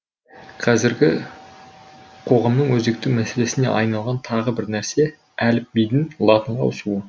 қазіргі қоғамның өзекті мәселесіне айналған тағы бір нәрсе әліпбидің латынға ауысуы